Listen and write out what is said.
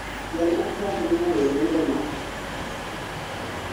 Jal ma Trup ne ooro lendo ma *****